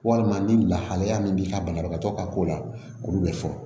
Walima ni lahalaya min b'i ka banabagatɔ ka ko la olu bɛ fɔ